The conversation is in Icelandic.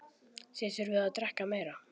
Þið þurfið að drekka meira.